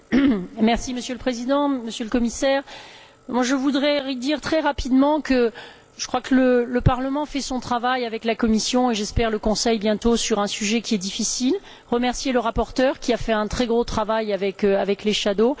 Monsieur le Président, Monsieur le Commissaire, je voudrais dire très rapidement que je crois que le Parlement fait son travail avec la Commission et, j'espère, le Conseil bientôt, sur un sujet qui est difficile, et remercier le rapporteur, qui a fait un très gros travail avec les rapporteurs fictifs.